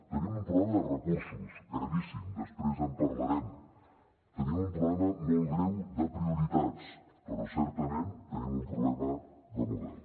tenim un problema de recursos gravíssim després en parlarem tenim un problema molt greu de prioritats però certament tenim un problema de model